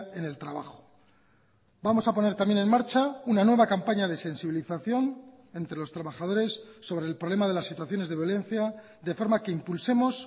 en el trabajo vamos a poner también en marcha una nueva campaña de sensibilización entre los trabajadores sobre el problema de las situaciones de violencia de forma que impulsemos